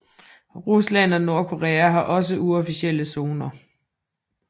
Rusland og Nordkorea har også uofficielle zoner